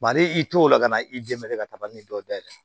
ale y'i to o la ka na i dɛmɛ ka taga ni dɔw dayɛlɛn